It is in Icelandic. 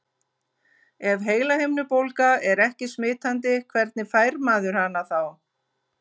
Ef heilahimnubólga er ekki smitandi, hvernig fær maður hana þá?